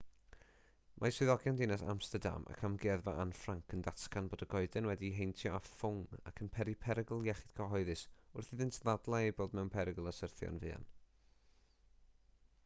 mae swyddogion dinas amsterdam ac amgueddfa anne frank yn datgan bod y goeden wedi'i heintio â ffwng ac yn peri perygl iechyd cyhoeddus wrth iddynt ddadlau ei bod mewn perygl o syrthio'n fuan